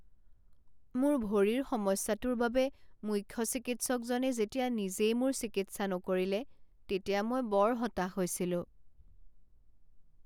মোৰ ভৰিৰ সমস্যাটোৰ বাবে মুখ্য চিকিৎসকজনে যেতিয়া নিজেই মোৰ চিকিৎসা নকৰিলে তেতিয়া মই বৰ হতাশ হৈছিলোঁ।